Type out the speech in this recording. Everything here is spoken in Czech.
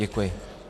Děkuji.